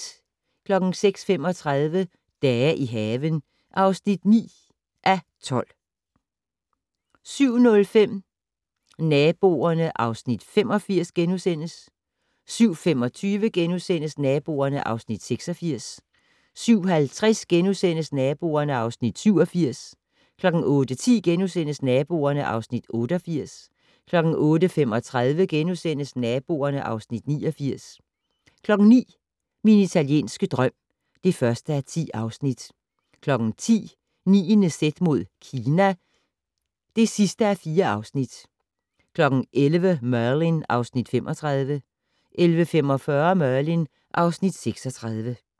06:35: Dage i haven (9:12) 07:05: Naboerne (Afs. 85)* 07:25: Naboerne (Afs. 86)* 07:50: Naboerne (Afs. 87)* 08:10: Naboerne (Afs. 88)* 08:35: Naboerne (Afs. 89)* 09:00: Min italienske drøm (1:10) 10:00: 9.z mod Kina (4:4) 11:00: Merlin (Afs. 35) 11:45: Merlin (Afs. 36)